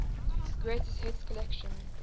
greatest hits collection